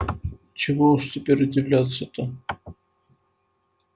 чего уж теперь удивляться-то